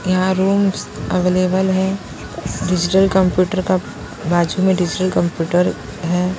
यहां rooms available है digital computer का बाजू में डिजिटल कंप्यूटर है।